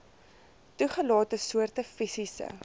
toegelate soorte fisiese